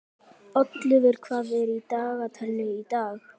Oddleifur, hvað er í dagatalinu í dag?